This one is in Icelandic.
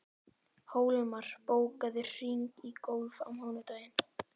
Hólmar, bókaðu hring í golf á mánudaginn.